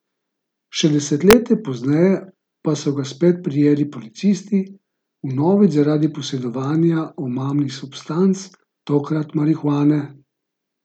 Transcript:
Še desetletje pozneje pa so ga spet prijeli policisti, vnovič zaradi posedovanja omamnih substanc, tokrat marihuane.